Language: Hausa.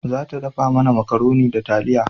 Za ta dafa mana makaroni da taliya